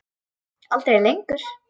Aldrei lengur.